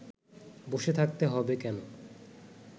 বসে থাকতে হবে কেন